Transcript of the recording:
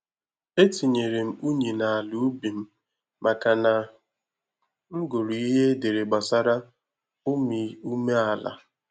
Etinyere m unyi na ala ubi m maka na m gụrụ ihe edere gbasara umiume ala